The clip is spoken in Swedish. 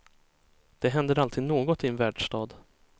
Det händer alltid något i en världsstad.